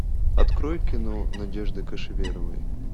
открой кино надежды кошеверовой